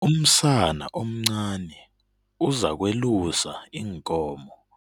Umsana omncani uzakwelusa iinkomo.